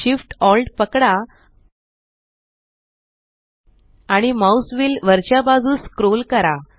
Shift Alt पकडा आणि mouse wheel वरच्या बाजूस स्क्रोल करा